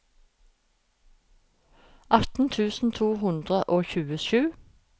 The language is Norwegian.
atten tusen to hundre og tjuesju